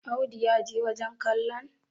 Audu ya je wajen kallon?